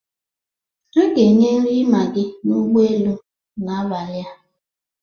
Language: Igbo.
A ga-enye nri maggi n'ụgbọelu n'abalị a